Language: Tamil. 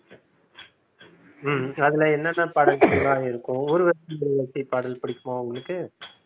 ஹம் அதுல என்னென்ன பாடல்கள் எல்லாம் இருக்கும் ஊர்வசி ஊர்வசி பாடல் பிடிக்குமா உங்களுக்கு?